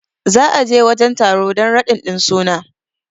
za a je wajen taro dan radin din suna